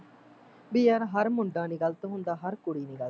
ਬਈ ਯਾਰ ਹਰ ਮੁੰਡਾ ਨੀ ਗਲਤ ਹੁੰਦਾ ਹਰ ਕੁੜੀ ਨੀ ਗਲਤ